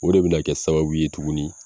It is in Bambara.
O de be na kɛ sababu ye tuguni